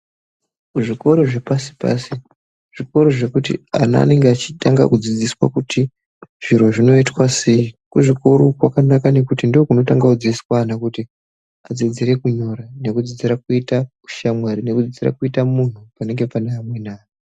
Kuzvikoro zvepashi pashi, zvikoro zvekuti ana anenga echitanga kudzidziswa kuti zviro zvinoitwa sei .Kuzvikoro kwakanaka ngekuti ndokunotanga kudzidziswa ana kuti adziddzire kunyora nekudzidzira kuita ushamwari, nekudzidzira kuita munhu panenge pane amweni anhu.